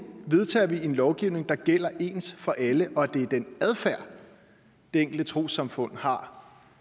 vedtager vi en lovgivning der gælder ens for alle og hvor det er den adfærd det enkelte trossamfund har